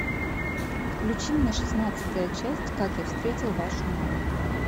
включи мне шестнадцатая часть как я встретил вашу маму